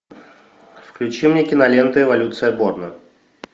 включи мне киноленту эволюция борна